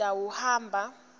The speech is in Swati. utawuhamba